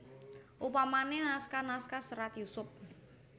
Upamane naskah naskah Serat Yusup